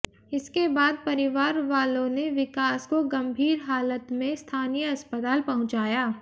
इसके बाद परिवार वालों ने विकास को गंभीर हालत मे स्थानीय अस्पताल पहुंचाया